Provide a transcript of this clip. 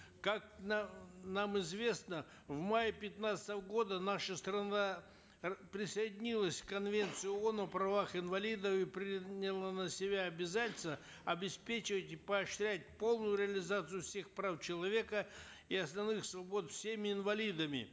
как нам известно в мае пятнадцатого года наша страна присоединилась к конвенции оон о правах инвалидов и приняла на себя обязательства обеспечивать и поощрять полную реализацию всех прав человека и основных свобод всеми инвалидами